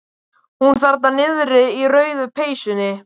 Hún þarna niðri í rauðu peysunni.